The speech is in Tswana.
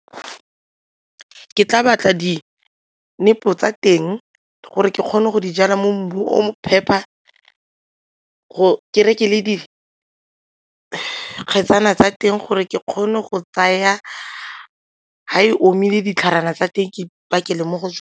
Ke tla batla dinepo tsa teng gore ke kgone go di jala mo mmung o mo phepa gore ke reke le dikgetsana tsa teng gore ke kgone go tsaya ga e omile ditlhare tsa teng ke pakela mo go .